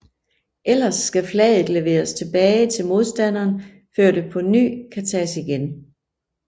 Ellers skal flaget leveres tilbage til modstanderen før det på ny kan tages igen